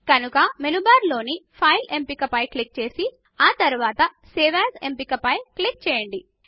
కనుక menu bar లోని file ఎంపిక పై క్లిక్ చేసి ఆ తరువాత సేవ్ ఏఎస్ ఎంపిక పైన క్లిక్ చేయండి